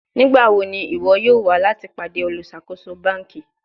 Nigbawo ni iwọ yoo wa lati pade oluṣakoso banki?